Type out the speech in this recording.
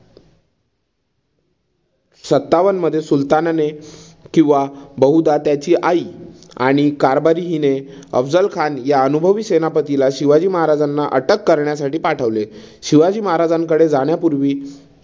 सत्तावनमध्ये सुलतानाने किंवा बहुदा त्याची आई आणि कारभारी हिने अफझल खान या अनुभवी सेनापतीला शिवाजी महाराजांना अटक करण्यासाठी पाठवले. शिवाजी महाराजांकडे जाण्यापूर्वी